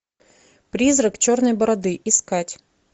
призрак черной бороды искать